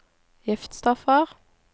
giftstoffer